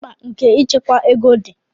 mkpa nke ịchekwa ego di